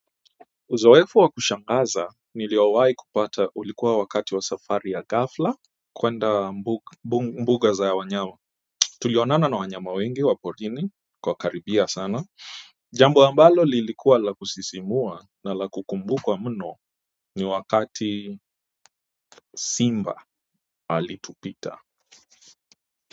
Uzoefu wa kushangaza niliowahi kupata ulikuwa wakati wa safari ya ghafla kuenda mbuga za wanyama tulionana na wanyama wengi wa porini kwa wakaribia sana jambo ambalo lilikuwa la kusisimua na la kukumbukwa mno ni wakati simba alitupita.